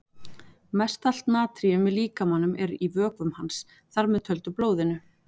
Mest allt natríum í líkamanum er í vökvum hans, þar með töldu blóðinu.